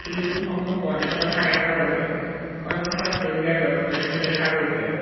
খিৰিকীসমূহ বন্ধ থকা দেখা গৈছে সন্মুখত সেউজীয়া গছ-গছনি দেখা গৈছে।